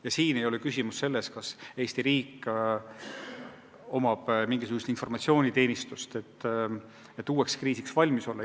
Ja siin ei ole küsimus selles, kas Eesti riigil on mingisugune informatsiooniteenistus, et uueks kriisiks valmis olla.